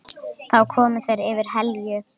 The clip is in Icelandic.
Þá koma þeir yfir Helju.